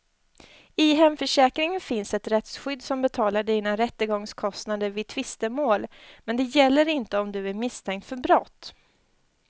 I hemförsäkringen finns ett rättsskydd som betalar dina rättegångskostnader vid tvistemål, men det gäller inte om du är misstänkt för brott.